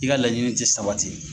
I ka laɲinii tɛ sabati